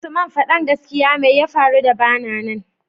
usman fadan gaskia meya faru da bana nan